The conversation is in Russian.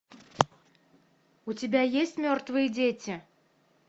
у тебя есть мертвые дети